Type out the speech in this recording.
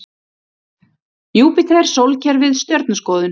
Júpíter Sólkerfið Stjörnuskoðun.